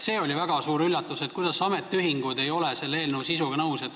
See oli väga suur üllatus, et ametiühingud ei ole selle eelnõu sisuga nõus.